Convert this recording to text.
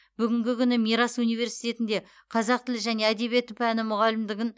бүгінгі күні мирас университетінде қазақ тілі және әдебиеті пәні мұғалімдігін